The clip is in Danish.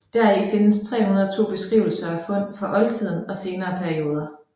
Deri findes 302 beskrivelser af fund fra oldtiden og senere perioder